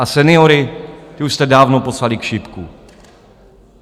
A seniory, ty už jste dávno poslali k šipku.